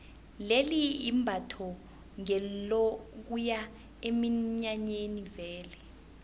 leli imbatho ngelokuya eminyanyeni vele